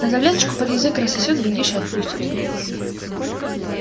но таблеточку под язык рассосёт глядишь и отпустит